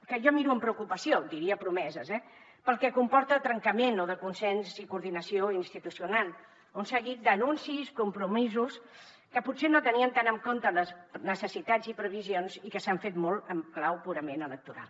que jo miro amb preocupació diria promeses eh pel que comporta de trencament o de consens i coordinació institucional un seguit d’anuncis compromisos que potser no tenien tant en compte les necessitats i previsions i que s’han fet molt en clau purament electoral